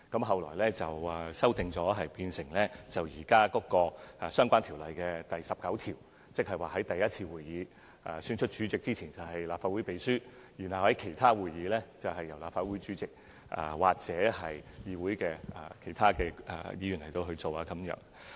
後來，有關安排修改為按《條例》第19條，在首次會議上選出主席之前由立法會秘書監誓，在其他會議上由立法會主席或其他議員監誓。